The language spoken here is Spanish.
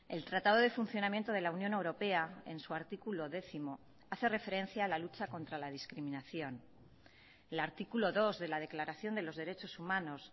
el tratado de funcionamiento de la unión europea en su artículo décimo hace referencia a la lucha contra la discriminación el artículo dos de la declaración de los derechos humanos